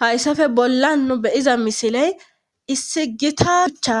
Hayssafe bolla nu beyiza misiley issi gita ucha